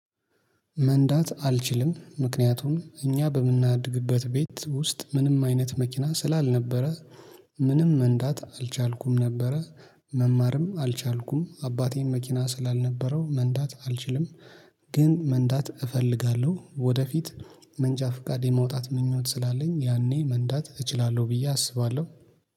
መንዳት አልችልም ምክንያቱም እኛ በምናድግበት ቤት ውስጥ ምንም አይነት መኪና ስላልነበረ ምንም መንዳት አልቻልኩም ነበረ መማርም አልቻልኩም አባቴን መኪና ስላልነበረው መንዳት አልችልም። ግን መንዳት እፈልጋለሁ ወደፊት። መንጃ ፍቃዴ ማውጣት ምኞት ስላለኝ ያኔ መንዳት እችላለሁ ብዬ አስባለሁ